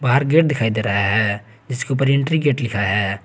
बाहर गेट दिखाई दे रहा है जिसके ऊपर एंट्री गेट लिखा है।